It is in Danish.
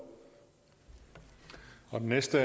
og hvis det